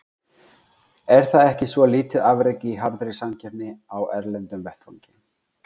Er það ekki svo lítið afrek í harðri samkeppni á erlendum vettvangi.